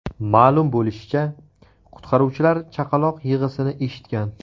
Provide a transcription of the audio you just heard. Ma’lum bo‘lishicha , qutqaruvchilar chaqaloq yig‘isini eshitgan.